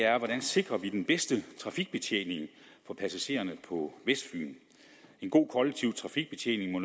sikrer den bedste trafikbetjening for passagererne på vestfyn en god kollektiv trafikbetjening må